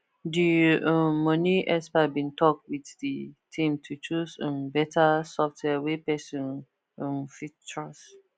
the um money expert bin talk with the team to choose um better software wey person um fit trust